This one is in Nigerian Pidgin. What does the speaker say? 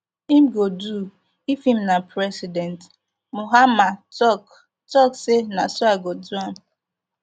im go do if im na president mahama tok tok say na so i go do am